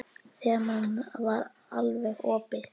Þemað var alveg opið.